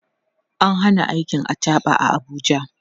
an Hana aikin achaɓa a Abuja